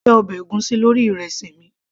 mo fẹ́ ọbẹ̀ ègúsí lórí ìrẹsì mi